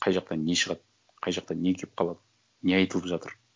қай жақтан не шығады қай жақтан не келіп қалады не айтылып жатыр